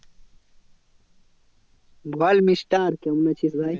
বল mister কেমন আছিস ভাই?